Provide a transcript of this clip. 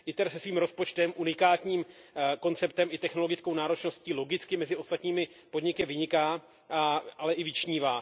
ITER se svým rozpočtem, unikátním konceptem i technologickou náročností logicky mezi ostatními podniky vyniká, ale i vyčnívá.